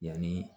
Yanni